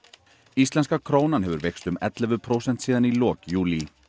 íslenska krónan hefur veikst um ellefu prósent síðan í lok júlí